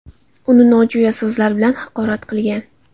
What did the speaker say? uni nojo‘ya so‘zlar bilan haqorat qilgan.